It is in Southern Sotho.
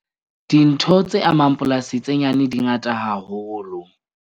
Dintho tse amang polasi tse nyane di ngata haholo.